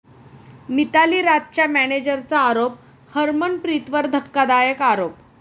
मिताली राजच्या मॅनेजरचा आरोप हरमनप्रीतवर धक्कादायक आरोप